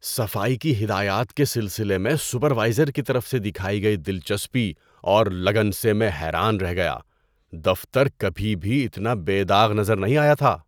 صفائی کی ہدایات کے سلسلے میں سپروائزر کی طرف سے دکھائی گئی دلچسپی اور لگن سے میں حیران رہ گیا۔ دفتر کبھی بھی اتنا بے داغ نظر نہیں آیا تھا!